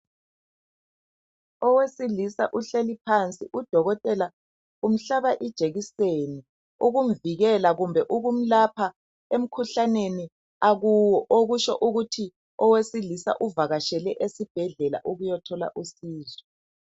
Owesilisa uhleli phansi udokotela umhlaba ijekiseni ukumvikela kumbe ukumlapha emkhuhlaneni akuwo. Okutsho ukuthi owesilisa uvakatshele esibhedlela ukuyathola usizo.